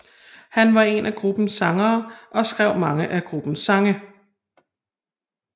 Han var en af gruppens sangere og skrev mange af gruppens sange